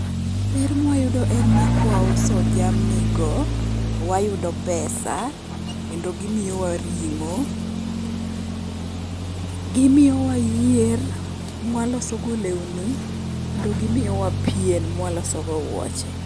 Ber mwayudo en ni kwauso jamnigo, wayudo pesa kendo gimiyowa ring'o. Gimiyowa yier mwalosogo lewni, kendo gimiyowa pien mwalosogo wuoche.